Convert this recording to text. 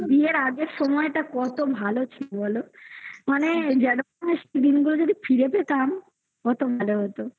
বিয়ের আগে বিয়ের আগের সময়টা কত ভালো ছিল বলো মানে দিনগুলো যদি ফিরে পেতাম কত ভালো হতো